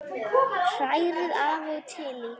Hrærið af og til í.